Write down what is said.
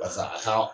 Walasa a ka